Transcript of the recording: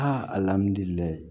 alihamudulilayi